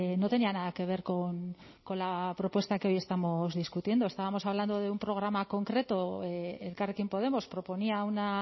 no tenía nada que ver con la propuesta que hoy estamos discutiendo estábamos hablando de un programa concreto elkarrekin podemos proponía una